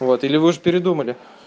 вот или вы уже передумали